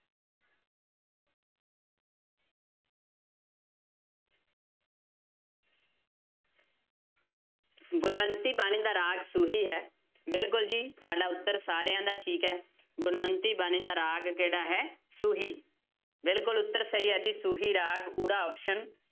ਗੁਣਵੰਤੀ ਬਾਣੀ ਦਾ ਰਾਗ ਸੂਹੀ ਹੈ ਬਿਲਕੁਲ ਜੀ ਤੁਹਾਡਾ ਉੱਤਰ ਸਾਰਿਆਂ ਦਾ ਠੀਕ ਹੈ, ਗੁਣਵੰਤੀ ਬਾਣੀ ਦਾ ਰਾਗ ਕਿਹੜਾ ਹੈ ਸੂਹੀ, ਬਿਲਕੁਲ ਉੱਤਰ ਸਹੀ ਹੈ ਜੀ ਸੂਹੀ ਰਾਗ ਊੜਾ option